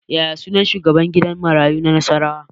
Yaya sunan shugaban gidan marayu na Nasarawa